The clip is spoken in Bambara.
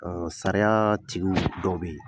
sariyatigiw dɔ bɛ yen